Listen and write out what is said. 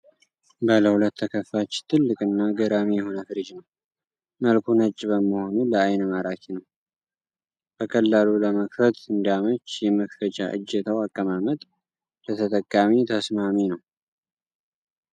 ባለ ሁለት ተከፋች ትልቅ እና ገራሚ የሆነ ፍሪጅ ነዉ። መልኩ ነጭ በመሆኑ ለአይን ማራኪ ነዉ።! በቀላሉ ለመክፈት እንዲያመች የመክፈቻ እጀታዉ አቀማመጥ ለተጠቃሚ ተስማሚ ነዉ።!